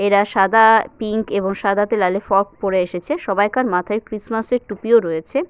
এরা সাদা পিঙ্ক এবং সাদা তে লালে ফ্রক পরে এসেছে। সবাইকার মাথায় ক্রিস্টমাসের টুপি ও রয়েছে।